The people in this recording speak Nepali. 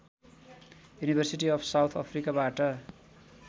university of south अफ्रिकाबाट